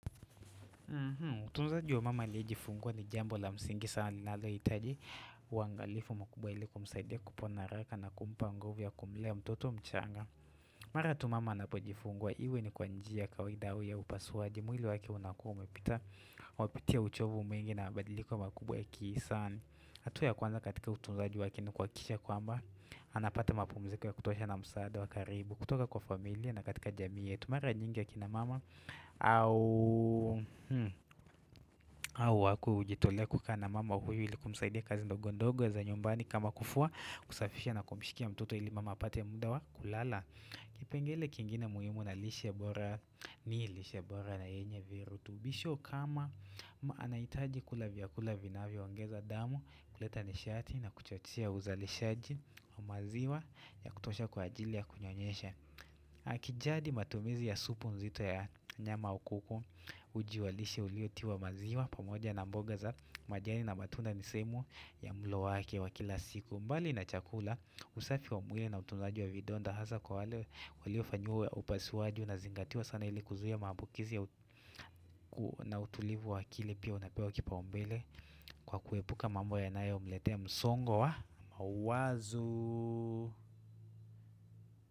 Utunzaji wa mama aliyejifungwa ni jambo la msingi sana linalohitaji utunzaji wa mama aliyejifungua ni jambo la msingi sana linaloitaji Mara tu mama anapojifungua iwe ni kwa njia ya kawaida au ya upasuaji mwili wake unakuwa umepita uchovu mwingi na mabadiliko makubwa ya kihisani hatua ya kwanza katika utunzaji wake ni kuhakikisha kwamba anapata mapumziko ya kutosha na msaada wa karibu kutoka kwa familia na katika jamii yetu mara nyingi akina mama au hao wako hujitolea kukaa na mama huyu ili kumsaidia kazi ndogo ndogo za nyumbani kama kufua kusafisha na kumishikia mtoto ili mama apate muda wa kulala Kipengele kingine muhimu na lishe bora ni lishebora na yenye virutubisho kama anahitaji kula vyakula vinavyoongeza damu kuleta nishati na kuchochea uzalishaji wa maziwa ya kutosha kwa ajili ya kunyonyesha Akijadi matumizi ya supu nzito ya nyama au kuku uji wa lishe uliotiwa maziwa pamoja na mboga za majani na matunda ni sehemu ya mlo wake wa kila siku mbali na chakula usafi wa mwili na utunzaji wa vidonda hasa kwa wale waliofanyiwa upasuaji unazingatiwa sana ili kuzuia maambukizi na utulivu wa kile pia unapewa kipaombele kwa kuepuka mambo yanayomletea msongo wa mawazo.